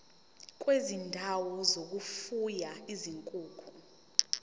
kwezindawo zokufuya izinkukhu